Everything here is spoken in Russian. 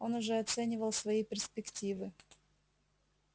он уже оценивал свои перспективы